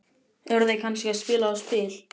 Eru þau kannski að spila á spil?